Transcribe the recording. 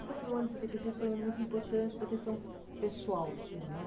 falou que o ano de setenta e seis foi um ano muito importante da questão pessoal sua, né?